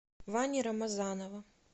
вани рамазанова